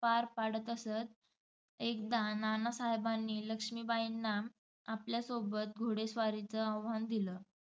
पार पाडत असत. एकदा नानासाहेबांनी लक्ष्मीबाईंना आपल्यासोबत घोडेस्वारीचं आव्हान दिलं.